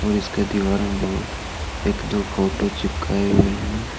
और इसके दीवारों को एक दो फोटो चिपकाए हुए हैं।